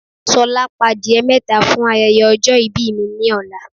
S̩o̩lá, pa adìye̩ mé̩ta fún aye̩ye̩ o̩jo̩ ìbí mi ní ò̩la.